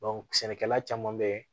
sɛnɛkɛla caman bɛ